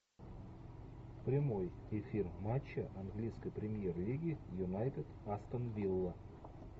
прямой эфир матча английской премьер лиги юнайтед астон вилла